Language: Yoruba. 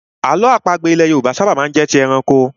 Àlọ́ àpagbè ilẹ̀ Yorùbá ṣábà má ń jẹ́ ti ẹranko.